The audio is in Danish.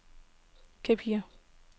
Capri